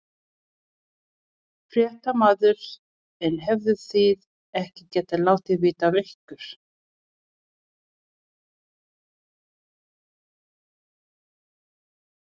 Fréttamaður: En hefðuð þið ekki getað látið vita af ykkur?